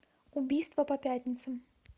убийства по пятницам